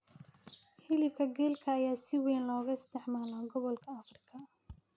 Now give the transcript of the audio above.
Hilibka gelka ayaa si weyn looga isticmaalaa gobolka Afrika